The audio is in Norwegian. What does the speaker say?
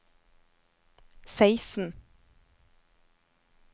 seksten